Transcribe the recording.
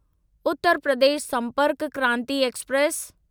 Uttar Pradesh Sampark Kranti express